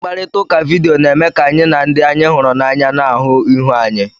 Mkparịta ụka vidiyo na-eme ka anyị na ndị anyị hụrụ n'anya na-ahụ ihu anyi.